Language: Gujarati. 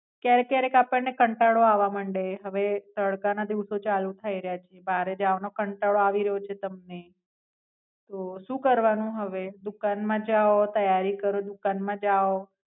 ક્યારેક ક્યારેક આપણ ને કંટાળો આવવા માંડે હવે તડકા ના દિવસો ચાલુ થઇ રહ્યા છીએ. બારે જવાનો કંટાળો આવી રહ્યો છે તમને. તો, શું કરવાનું હવે? દુકાન માં જાઓ ત્યારી કરો દુકાન માં જાવ.